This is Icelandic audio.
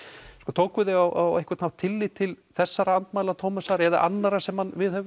tókuð þið á einhvern þátt tillit til þessara andmæla Tómasar eða annarra sem hann viðhefur